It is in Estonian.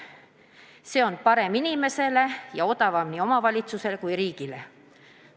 See on parem inimesele ja odavam nii omavalitsusele kui ka riigile.